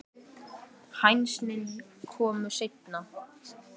Hænsnin komu seinna.